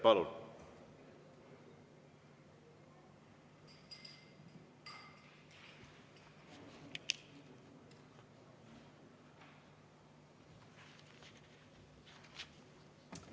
Palun!